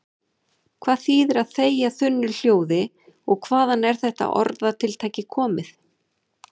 Hvað þýðir að þegja þunnu hljóði og hvaðan er þetta orðatiltæki komið?